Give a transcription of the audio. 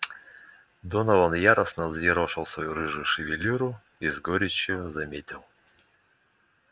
донован яростно взъерошил свою рыжую шевелюру и с горечью заметил